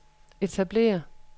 etablere